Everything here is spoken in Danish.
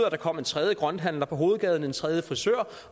at der kom en tredje grønthandler på hovedgaden en tredje frisør